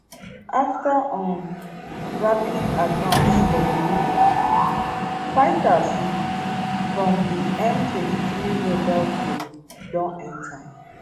afta um rapid advance for di region fighters um from di m23 rebel group don enta